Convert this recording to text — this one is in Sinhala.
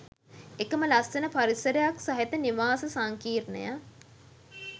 එකම ලස්සන පරිසරයක් සහිත නිවාස සංකීර්ණය